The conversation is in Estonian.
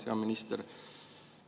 Hea minister!